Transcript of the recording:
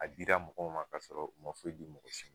A dira mɔgɔw ma k'a sɔrɔ u ma foyi di mɔgɔ si ma